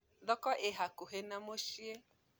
Thoko ĩhakũhĩ na mũciĩ